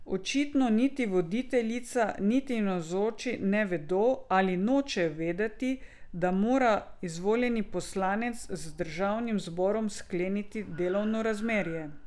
Očitno niti voditeljica niti navzoči ne vedo ali nočejo vedeti, da mora izvoljeni poslanec z državnim zborom skleniti delovno razmerje.